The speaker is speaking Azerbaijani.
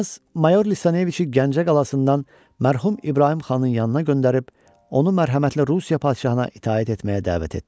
Knyaz mayor Lisaneviçi Gəncə qalasından mərhum İbrahim xanın yanına göndərib, onu mərhəmətli Rusiya padşahına itaət etməyə dəvət etdi.